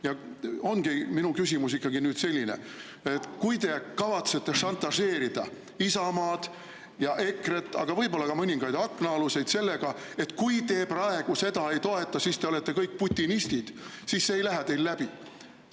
Ja minu küsimus ongi selline, et kui te kavatsete šantažeerida Isamaad ja EKRE-t, aga võib-olla ka mõningaid aknaaluseid, et kui te praegu seda ei toeta, siis te olete kõik putinistid, siis see ei lähe teil läbi.